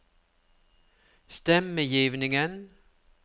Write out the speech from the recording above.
stemmegivningen